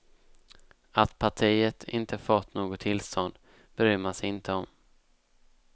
Att partiet inte fått något tillstånd bryr man sig inte om.